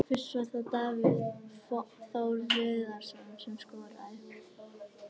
Fyrst var það Davíð Þór Viðarsson sem skoraði.